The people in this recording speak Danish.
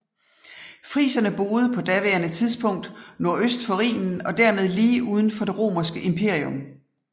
Friserne boede på daværende tidspunkt nordøst for Rhinen og dermed lige uden for det romerske imperium